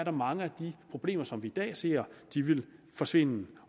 mange af de problemer som vi i dag ser forsvinde